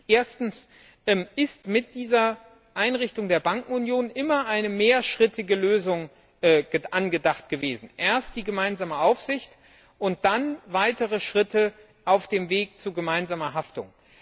Erstens ist mit dieser Einrichtung der Bankenunion immer eine mehrschrittige Lösung angedacht gewesen erst die gemeinsame Aufsicht und dann weitere Schritte auf dem Weg zu gemeinsamer Haftung.